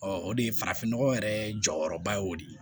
o de ye farafinnɔgɔ yɛrɛ jɔyɔrɔba y'o de ye